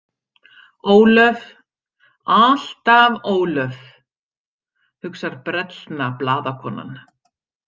Ólöf, alltaf Ólöf, hugsar brellna blaðakonan.